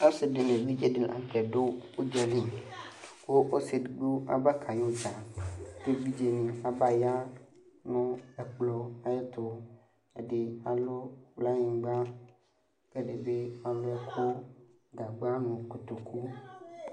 Ɔsidi nʊ évidʒé di la ŋtɛ dʊ ʊdzéli Kʊ ɔsi édigbo abavka yu dzaa Ké évidzé dini abaya nu ɛkpɔ ayɛtu Ɛdi alʊ kplaynigba Kɛ ɛdibi alu ɛku gagba nu kotokʊ